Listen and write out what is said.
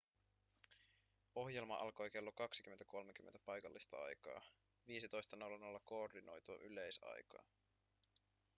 ohjelma alkoi kello 20.30 paikallista aikaa 15.00 koordinoitua yleisaikaa